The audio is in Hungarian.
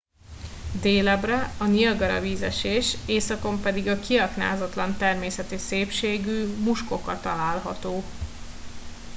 délebbre a niagara vízesés északon pedig a kiaknázatlan természeti szépségű muskoka található